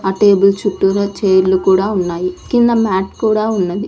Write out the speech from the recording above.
ఆ టేబుల్ చుట్టూరా చైర్లు కూడా ఉన్నాయి కింద మ్యాట్ కూడా ఉన్నది.